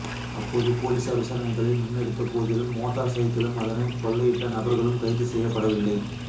அப்போது பொலிசார் விசாரணைகளை முன்னெடுத்த போதிலும் மோட்டார் சைக்கிளும் அதனை கொள்ளையிட்ட நபர்களும் கைது செய்யப்படவில்லை